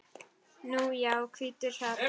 Nú já, hvítur hrafn.